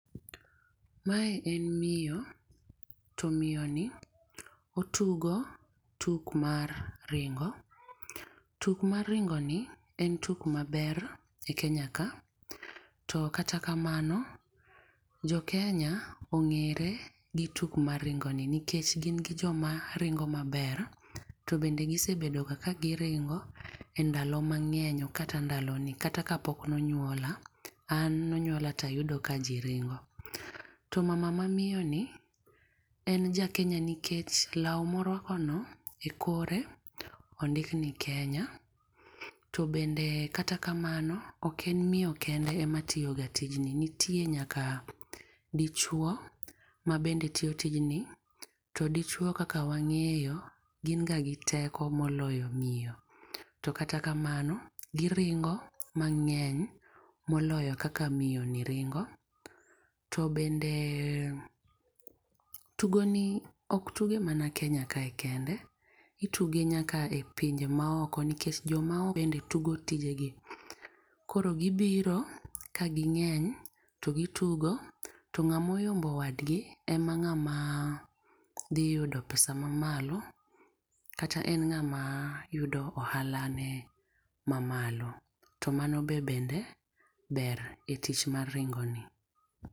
Ma en miyo to miyo ni otugo tuk mar ringo, tuk mar ringo en tuk ma ber e Kenya ka. To kata kamano jo kenya ong'ere gi tugo ni nikech gin gi jo ma ringo ma ber to bende gi sebedo ga ka gi ringo e ndalo mang'eny ok kata ndalo ni kata ka pok onyuola, an ne onyuola to ayudo ka ji ringo. To mama ma miyo ni en ja Kenya nikech law ma orwako ni e kore ondik ni Kenya. To bende kata kamano ok en miyo kende ema tiyo ga tij ni, nitie nyaka dichuo ma tiyo ga tijni to dichuo kaka wang'eyo gin ga gi teko moloyo miyo to kata kamano gi ringo mang'eny ma oloyo kaka miyo ni ringo to bende tugo ni ok tugo mana Kenya kae kende, itugo nyaka pinje ma oko nikech jo ma oko be tugo tije gi. Koro gi biro ka gi ng'eny to gi tugo to ng'ama oyombo wadgi e ng'ama dhi yudo pesa ma malo kata en ng'ama yudo ohala ne ma mamlo. To mano be ber e tich mar ringo ni.